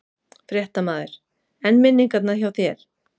Fréttamaður: En minningarnar hjá þér?